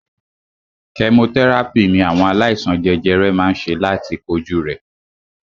Kẹmotẹ́ràpì ní àwọn aláìsàn jẹjẹrẹ má ń ṣe láti kojú rẹ̀.